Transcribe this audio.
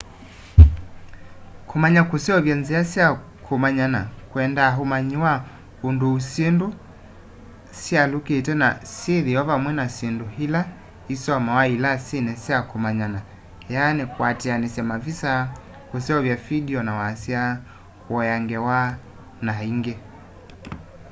kumanya kuseovya nzia sya kumanyana kwendaa umanyi wa unduũ syindũ syialyũkite na syithio vamwe na syindũ ila isomawa ilasini sya kũmanyana kwatianisya mavisa kuseuvya vindio na wasya kuea ngewa na ingi